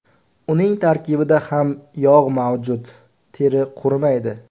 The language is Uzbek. Uning tarkibida ham yog‘ mavjud, teri qurimaydi.